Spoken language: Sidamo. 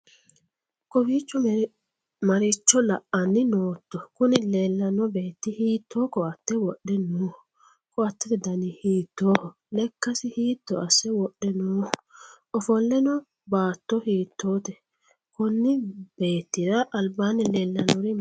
kowiicho maricho la'anni nootto? kuni leellanno beetti hiitto ko'atte wodhe nooho? ko'attete dani hiittoho? lekkasi hiitto asse wodhe nooho? ofolle no baatto hiittote? konni beettira albaanni leellannori maati?